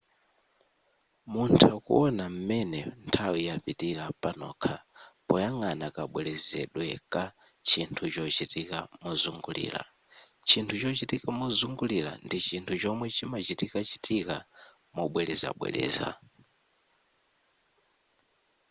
muntha kuwona m'mene nthawi yapitira panokha poyang'ana kabwerezedwe ka chinthu chochitika mozungulira.chinthu chochitika mozungulira ndi chinthu chomwe chimachitikachitika mobwerezabwereza